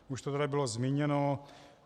Už to tady bylo zmíněno.